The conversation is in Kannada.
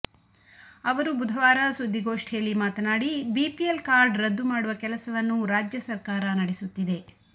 ಅವರು ಬುಧವಾರ ಸುದ್ದಿಗೋಷ್ಠಿಯಲ್ಲಿ ಮಾತನಾಡಿ ಬಿಪಿಎಲ್ ಕಾರ್ಡ್ ರದ್ದು ಮಾಡುವ ಕೆಲಸವನ್ನು ರಾಜ್ಯ ಸರ್ಕಾರ ನಡೆಸುತ್ತಿದೆ